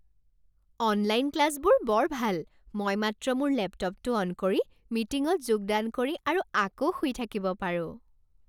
Online ক্লাছবোৰ বৰ ভাল। মই মাত্ৰ মোৰ লেপটপটো অন কৰি, মিটিঙত যোগদান কৰি আৰু আকৌ শুই থাকিব পাৰোঁ।